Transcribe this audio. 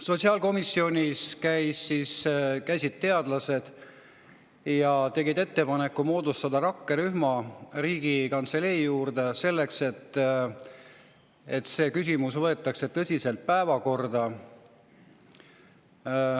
Sotsiaalkomisjonis käisid teadlased ja tegid ettepaneku moodustada rakkerühm Riigikantselei juurde, selleks et see küsimus võetaks tõsiselt päevakorda.